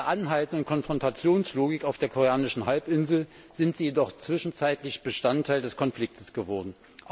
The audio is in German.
In der anhaltenden Konfrontationslogik auf der koreanischen Halbinsel sind sie jedoch zwischenzeitlich Bestandteil des Konflikts geworden.